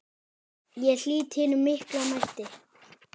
Ég lýt hinum mikla mætti.